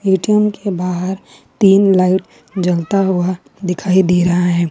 ATM के बाहर तीन लाइट जलता हुआ दिखाई दे रहा है।